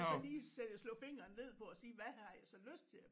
Og så lige slå fingeren ned på at sige hvad har jeg så lyst til